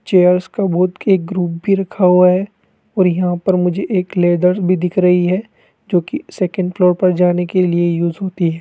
Chairs का बहुत के एक ग्रुप भी रखा हुआ है और यहां पर मुझे एक लेदर भी दिख रही है जोकि सेकंड फ्लोर पर जाने के लिए यूज होती है।